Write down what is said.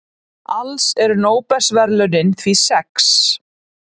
Alls eru Nóbelsverðlaunin því sex.